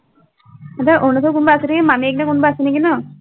সিহঁতৰ অৰুণাচলত কোনোবা আছে নেকি, মামীয়েক নে কোনোবা আছে নেকি ন?